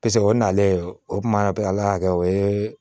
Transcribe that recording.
Piseke o nalen o kuma bɛɛ ala y'a kɛ o ye